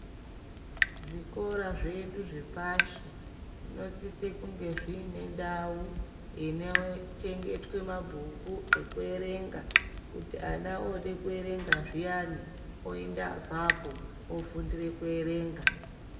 Zvikora zvedu zvepashi zvinosise kunge zviine ndau inochengetwe mabhuku ekuerenga kuti ana ode kuerenga zviyani oende apapo ofundire kuerenga.